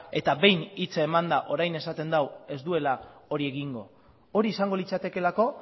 eta behin hitza emanda orain esaten du ez duela hori egingo hori izango litzatekeelako